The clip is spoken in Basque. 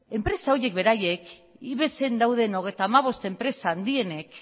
enpresa horiek beraiek ibexen dauden hogeita hamabost enpresa handienek